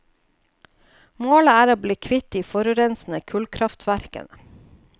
Målet er å bli kvitt de forurensende kullkraftverkene.